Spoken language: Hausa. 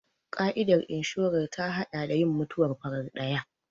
Ƙa'idar inshorar ta haɗa da yin mutuwar farar ɗaya.